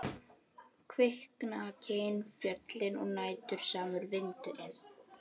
Kviknakin fjöllin og vætusamur vindur- inn.